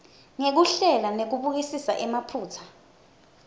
ngekuhlela nekubukisisa emaphutsa